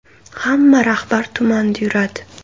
Hamma rahbar tumanda yuradi.